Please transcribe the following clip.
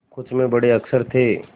कुछ में बड़े अक्षर थे